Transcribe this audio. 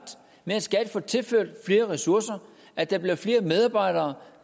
med at skat får tilført flere ressourcer at der bliver flere medarbejdere